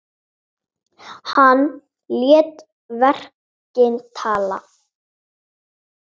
Hann lét verkin tala.